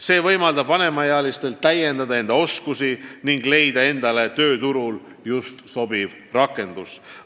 See võimaldab vanematelgi inimestel täiendada oma oskusi ning leida endale just sobiv töö.